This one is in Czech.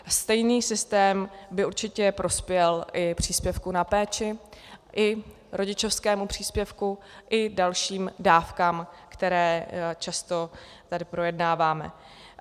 Stejný systém by určitě prospěl i příspěvku na péči, i rodičovskému příspěvku, i dalším dávkám, které často tady projednáváme.